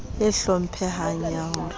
e hlomphehang ya ho re